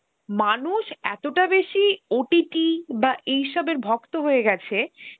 মানুষ এতটা বেশি OTT বা এইসবের ভক্ত হয়ে গেছে,